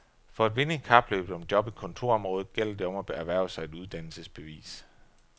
For at vinde i kapløbet om job i kontorområdet gælder det om at erhverve sig et uddannelsesbevis.